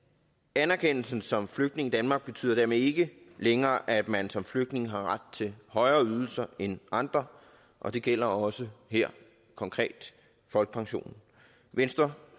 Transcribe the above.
anerkendelsen som flygtning i danmark betyder dermed ikke længere at man som flygtning har ret til højere ydelser end andre og det gælder også her konkret folkepensionen venstre